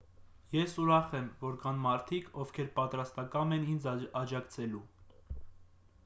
ես ուրախ եմ որ կան մարդիկ ովքեր պատրաստակամ են ինձ աջակցելու